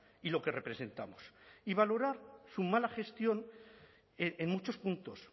y lo que representamos y valorar su mala gestión en muchos puntos